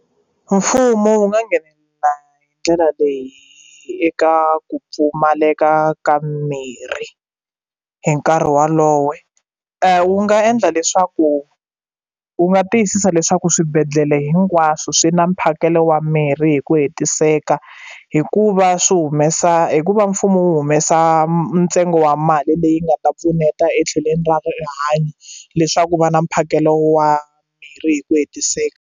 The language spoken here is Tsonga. Mfumo wu nga nghenelela hi ndlela leyi eka ku pfumaleka ka mimirhi hi nkarhi wolowo wu nga endla leswaku u nga tiyisisa leswaku swibedhlele hinkwaswo swi na mphakelo wa mirhi hi ku hetiseka hikuva swi humesa hikuva mfumo wu humesa ntsengo wa mali leyi nga ta pfuneta etlhelweni rihanyo leswaku va na mphakelo wa mimirhi hi ku hetiseka.